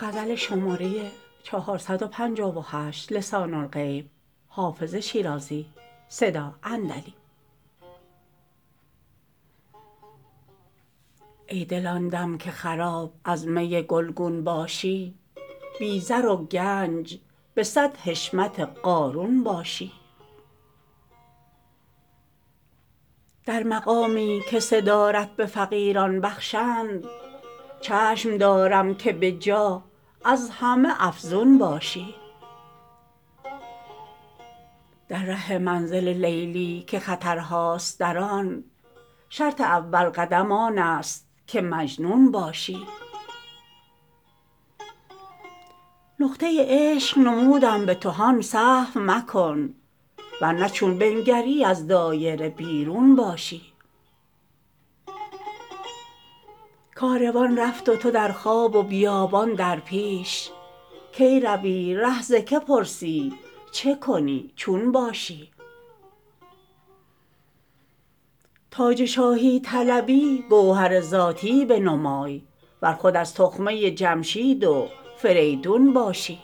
ای دل آن دم که خراب از می گلگون باشی بی زر و گنج به صد حشمت قارون باشی در مقامی که صدارت به فقیران بخشند چشم دارم که به جاه از همه افزون باشی در ره منزل لیلی که خطرهاست در آن شرط اول قدم آن است که مجنون باشی نقطه عشق نمودم به تو هان سهو مکن ور نه چون بنگری از دایره بیرون باشی کاروان رفت و تو در خواب و بیابان در پیش کی روی ره ز که پرسی چه کنی چون باشی تاج شاهی طلبی گوهر ذاتی بنمای ور خود از تخمه جمشید و فریدون باشی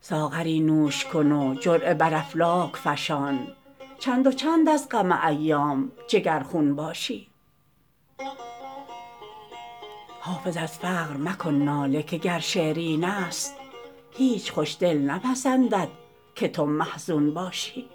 ساغری نوش کن و جرعه بر افلاک فشان چند و چند از غم ایام جگرخون باشی حافظ از فقر مکن ناله که گر شعر این است هیچ خوش دل نپسندد که تو محزون باشی